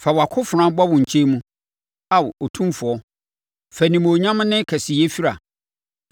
Fa wʼakofena bɔ wo nkyɛn mu, Ao Otumfoɔ; fa animuonyam ne kɛseyɛ fira.